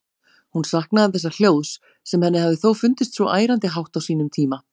Hún saknaði þessa hljóðs, sem henni hafði þó fundist svo ærandi hátt á sínum tíma.